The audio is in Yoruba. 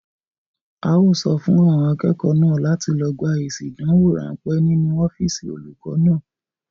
A ó sọ fún àwọn akẹ́kọ̀ọ́ náà láti lọ gba èsì ìdánwò ránpẹ́ nínú ọ́físì olùkọ náà.